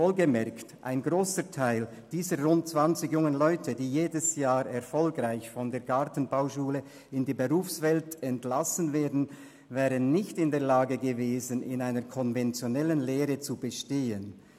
Wohlgemerkt: Ein grosser Teil dieser rund 20 jungen Leute, die jedes Jahr erfolgreich von der Gartenbauschule in die Berufswelt entlassen werden, wäre nicht in der Lage gewesen, in einer konventionellen Lehre zu bestehen.